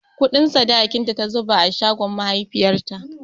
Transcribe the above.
Kuɗin sadakinta ta zuba a shagon mahaifiyarta.